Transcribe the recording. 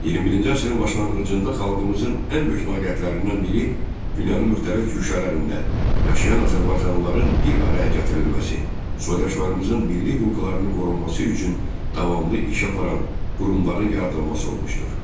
21-ci əsrin başlanğıcında xalqımızın ən böyük nailiyyətlərindən biri dünyanın müxtəlif güşələrində yaşayan azərbaycanlıların bir araya gətirilməsi, soydaşlarımızın milli hüquqlarının qorunması üçün davamlı iş aparan qurumların yaradılması olmuşdur.